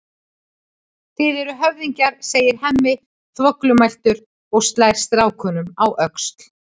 Þið eruð höfðingjar, segir Hemmi þvoglumæltur og slær strákunum á öxl.